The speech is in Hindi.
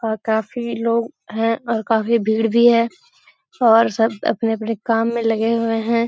और काफ़ी लोग हैं और काफ़ी भीड़ भी है और सब अपने-अपने काम में लगे हुए हैं।